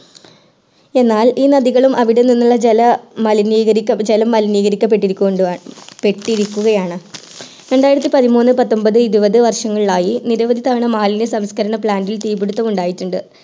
എന്നാൽ ഈ നദികളും അവിടെ നിന്ന് ഉള്ള ജലം മലിനീകരിക്കപ്പെട്ടുകൊണ്ടിരിക്കുക ആണ് രണ്ടിയത്തി പതിമൂന്നു പത്തൊന്പതു ഇരുപതു വർഷങ്ങളിലായി നിരവധി തവണ മാലിന്യ സംസ്കരണ plant ൽ തീ പിടിത്തം ഉണ്ടായിട്ടുണ്ട്